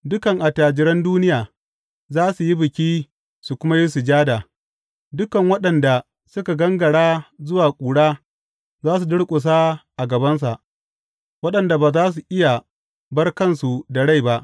Dukan attajiran duniya za su yi biki su kuma yi sujada; dukan waɗanda suka gangara zuwa ƙura za su durƙusa a gabansa, waɗanda ba za su iya bar kansu da rai ba.